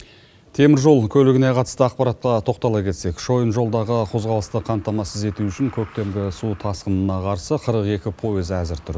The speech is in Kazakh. темір жол көлігіне қатысты ақпаратқа тоқтала кетсек шойын жолдағы қозғалысты қамтамасыз ету үшін көктемгі су тасқынына қарсы қырық екі пойыз әзір тұр